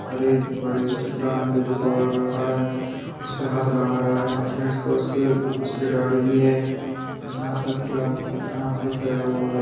अरे बड़ी सी चट्टान पे जो कवर हो रखा है उसपे हाथ लगा रहा है और उसके उसके दाढ़ी भी है और उसने उसने हाथ में कुछ पहना हुआ है।